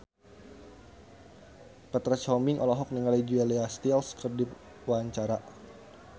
Petra Sihombing olohok ningali Julia Stiles keur diwawancara